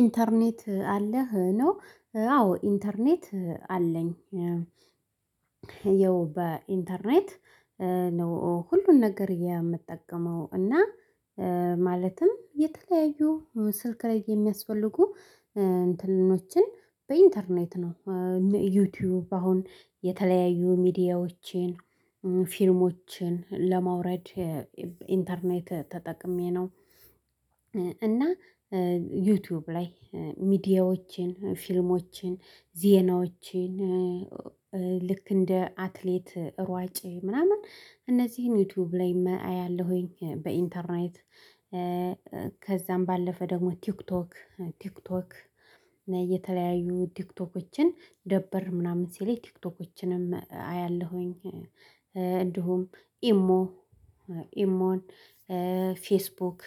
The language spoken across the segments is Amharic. ኢንተርኔት አለህ ነው? አዎ ኢንተርኔት አለኝ። ህየው በኢንተርኔት ነው ሁሉን ነገር የምጠቀመው እና ማለትም የተለያዩ ስልክ ላይ የሚያስፈልጉ እንትኖችን በኢንተርኔት ነው ዩቲብ አሁን የተለያዩ ሚዲያዎችን ፊልሞችን ለማውረድ የ ኢንተርኔት ተጠቅሜ ነው። እና ዩቲብ ላይ ሚዲያዎችን ፊልሞችን ዜናዎችን ልክ እንደ አትሌት ሯጭ ምናምን እነዚህን ዩቲብም ላይ ኣያለሁኝ በኢንተርኔት ከዛም ባለፈ ደግሞ ቲክቶክ ቲክቶክ የተለያዩ ቲክቶኮችን ደበር ምናምን ሲል ቲክቶኮችንም አያለሁኝ። እንዲሁም ኢሞ ኢሞን ፌስቡክ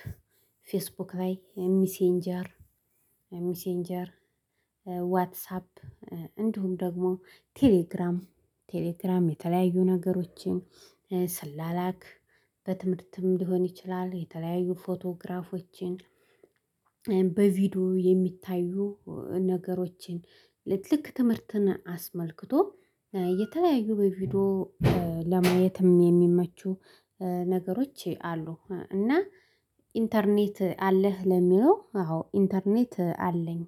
ፌስቡክ ላይ ሚሴንጀር ሚሰንጀር ዋትሳፕ እንዲሁም ደግሞ ቴሌግራም ቴሌግራም የተለያዩ ነገሮችን ስላላክ በትምህርትም ሊሆን ይችላል የተለያዩ ፎቶግራፎችን በቪዲዮ የሚታዩ ነገሮችን ልክ ትምህርትን አስመልክቶ የተለያዩ በቪዲዮ ለማየትም የሚመቹ ነገሮች አሉ። እና ኢንተርኔት አለህ ለሚለው አዎ ኢንተርኔት አለኝ